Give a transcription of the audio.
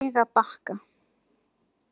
Laugabakka